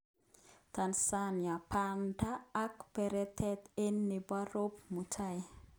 Tanzania:Banda ak baretab ge nebo Rob Mutai